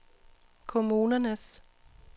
kommunernes